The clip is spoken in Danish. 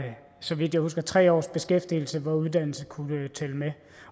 så vidt jeg husker tre års beskæftigelse hvor uddannelse kunne tælle med